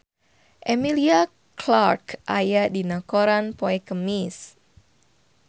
Emilia Clarke aya dina koran poe Kemis